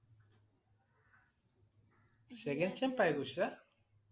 second sem পাই গৈছে?